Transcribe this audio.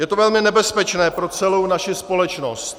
Je to velmi nebezpečné pro celou naši společnost.